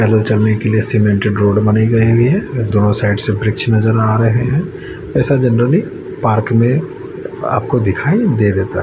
पैदल चलने के लिए सीमेंटेड रोड बनाई गई हुई है दोनों साइड से वृक्ष नजर आ रहे है ऐसा जेनरली पार्क में आपको दिखाई दे देता--